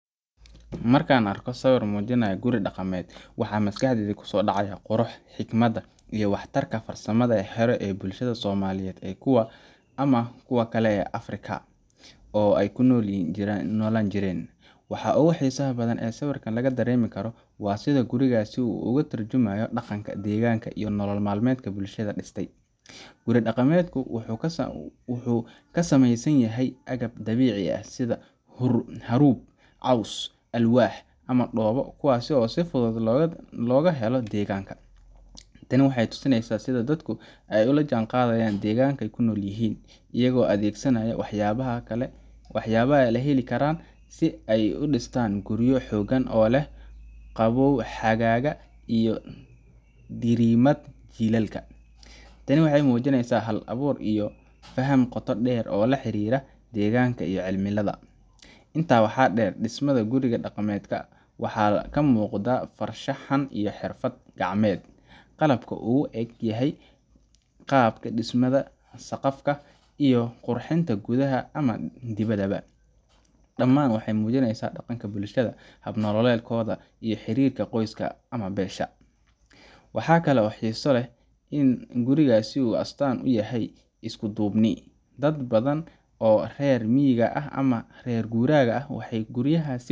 Markan arko sawir dhaqameed waxaa maskasdeeyda kuso dhacaya qurux, xigmad iyo waxtarka farsamada hore ee bulshada soomaaliyed ee kuwa ama kuwa kale ee Afrika oo ay kunolan jireen, waxaa ogu xiisa badan ey sawirkan laga dareemi karo waa sida gurigaas u oga tarjumayo dhaqanka deegganka iyo nolol malmeedka bulshada dhistay, guri dhaqameedku wuxuu kasameeysan yahay agab dabiici ah sida harub, alwax, cows ama dhoobo kuwaasi oo si fudud loga helo deegganka, taani waxaa tusineysa sida dadku ay olajan qaadatan deeggankay kunol yihiin iyago addegsanayo wax yabaha la heli karan si ay udhistaan gurigaa xoogan oo leh qabow xagaga iyo dhiirimad jilalka, taani waxay muujineysa hal abuur iyo faham qoto dheer leh oo la xariira deegganka iyo cimilada, inta waxaa dheer dhismada guriga dhaqameedka waxaa kamuuqda far shaxan iyo xirfad gacameed qalabka uu egyahay qaabka dhismada saqafka iyo qurxinta gudaha ama dibada ba, dhamaan waxay muujineysa dhaqanka bulshada hab nololedkoda iyo xirirka qoyska ama beesha, waxakale oo xisa leh in gurigaasi uu astan uyahay iskudubni, dad badan oo rer miyi ah ama rer gura ah waxay guriyahas aad ujecel yihin